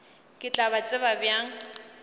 ke tla ba tseba bjang